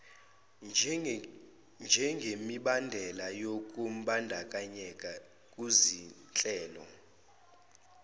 njengemibandela yokumbandakanyeka kuzinhlelo